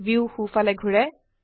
view সো ফালে ঘোৰে